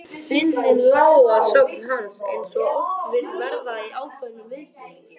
Fyndnin lá að sögn hans eins og oft vill verða í ákveðnum viðsnúningi.